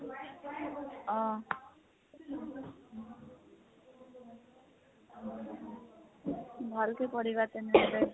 অহ। ভালকে পঢ়িবা তেনেহলে।